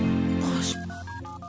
қош бол